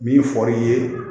Min fɔr'i ye